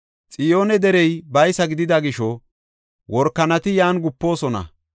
Xiyoone Derey baysa gidida gisho, workanati yan gupoosona.